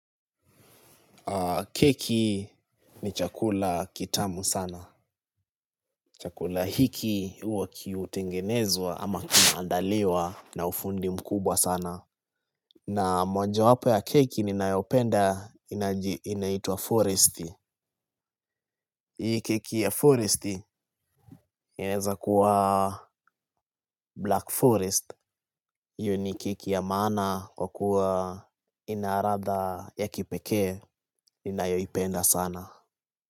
Keki ni chakula kitamu sana. Chakula hiki huwa kiutengenezwa ama kinaandaliwa na ufundi mkubwa sana. Na mojawapo ya keki ninayopenda inaitwa forest. Hii keki ya forest ineza kuwa black forest. Iyo ni keki ya mana kwa kuwa inaradha ya kipekee ninayoipenda saana.